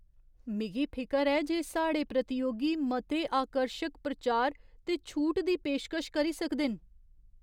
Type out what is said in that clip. मिगी फिकर ऐ जे साढ़े प्रतियोगी मते आकर्शक प्रचार ते छूट दी पेशकश करी सकदे न।